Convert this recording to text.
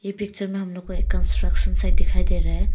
इ पिक्चर में हम लोग को एक कंस्ट्रक्शन साइट दिखाई दे रहा है।